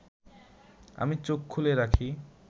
আমি চোখ খুলে রাখি